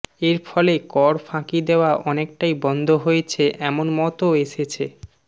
এর ফলে কর ফাঁকি দেওয়া অনেকটাই বন্ধ হয়েছে এমন মতও এসেছে